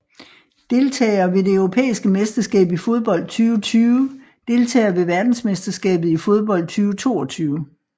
Deltagere ved det europæiske mesterskab i fodbold 2020 Deltagere ved verdensmesterskabet i fodbold 2022